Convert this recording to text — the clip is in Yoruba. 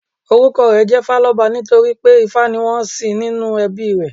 Orúkọ rè ńjé Fáloba nítorí pé Ifá ni wón ń sìn nínú ẹbí i rè